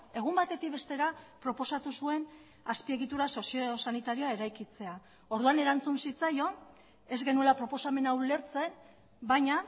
egun batetik bestera proposatu zuen azpiegitura soziosanitarioa eraikitzea orduan erantzun zitzaion ez genuela proposamena ulertzen baina